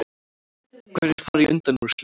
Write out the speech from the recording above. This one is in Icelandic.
Hverjir fara í undanúrslit